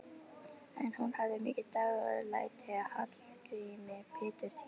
En hún hafði mikið dálæti á Hallgrími Péturssyni.